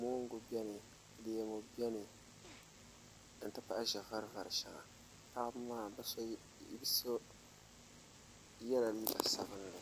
moongu biɛni leemu biɛni n ti pahi ʒɛ vari vari shɛŋa paɣaba maa bi so yɛla liiga sabinli